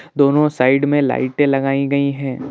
दोनों साइड में लाइटे लगाई गई हैं।